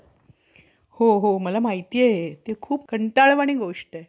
घमघमाट कसा आवडेल? हे तू मोठे अनुचित बोलतोस बाबा. तुम्हीच कित्येक वेळा भर सभेत बोलता कि ब्राम्हण,